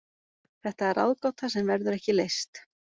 Þetta er ráðgáta sem verður ekki leyst.